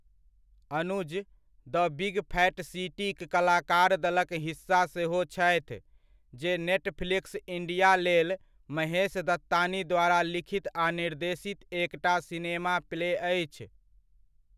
Anuj 'the big fat सिटी'क कलाकार दलक हिस्सा सेहो छथि, जे नेटफ्लिक्स इंडिया लेल महेश दत्तानी द्वारा लिखित आ निर्देशित एकटा सिनेमा प्ले अछि।